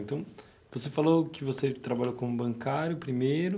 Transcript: Então, você falou que você trabalhou como bancário primeiro,